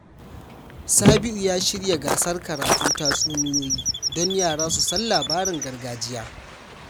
Sabiu ya shirya gasar karatun tatsuniyoyi don yara su san labaran gargajiya.